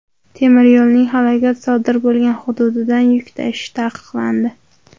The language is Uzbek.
Temiryo‘lning halokat sodir bo‘lgan hududidan yuk tashish taqiqlandi.